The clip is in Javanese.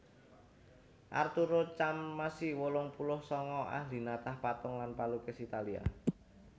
Arturo Carmassi wolung puluh sanga ahli natah patung lan palukis Italia